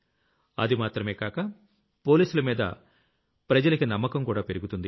అది మాత్రమే కాక పోలీసులమీద జనానికి నమ్మకంకూడా పెరుగుతుంది